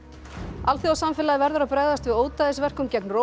alþjóðasamfélagið verður að bregðast við ódæðisverkum gegn